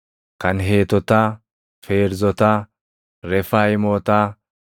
kan Heetotaa, Feerzotaa, Refaayimootaa,